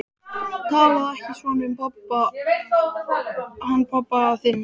Talaðu ekki svona um hann pabba þinn.